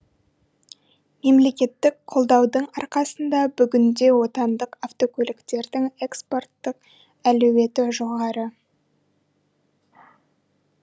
мемлекеттік қолдаудың арқасында бүгінде отандық автокөліктердің экспорттық әлеуеті жоғары